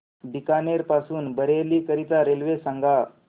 बीकानेर पासून बरेली करीता रेल्वे सांगा